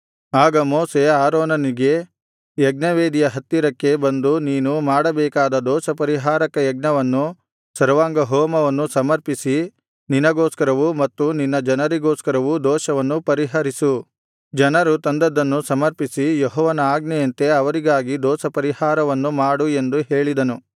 ಆಗ ಮೋಶೆ ಆರೋನನಿಗೆ ಯಜ್ಞವೇದಿಯ ಹತ್ತಿರಕ್ಕೆ ಬಂದು ನೀನು ಮಾಡಬೇಕಾದ ದೋಷಪರಿಹಾರಕ ಯಜ್ಞವನ್ನು ಸರ್ವಾಂಗಹೋಮವನ್ನು ಸಮರ್ಪಿಸಿ ನಿನಗೋಸ್ಕರವೂ ಮತ್ತು ನಿನ್ನ ಜನರಿಗೋಸ್ಕರವೂ ದೋಷವನ್ನು ಪರಿಹರಿಸು ಜನರು ತಂದದ್ದನ್ನು ಸಮರ್ಪಿಸಿ ಯೆಹೋವನ ಆಜ್ಞೆಯಂತೆ ಅವರಿಗಾಗಿ ದೋಷಪರಿಹಾರವನ್ನು ಮಾಡು ಎಂದು ಹೇಳಿದನು